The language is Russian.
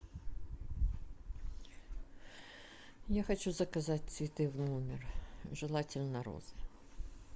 я хочу заказать цветы в номер желательно розы